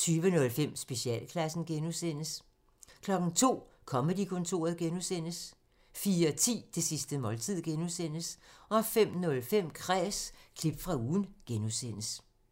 20:05: Specialklassen (G) 02:00: Comedy-kontoret (G) 04:10: Det sidste måltid (G) 05:05: Kræs – klip fra ugen (G)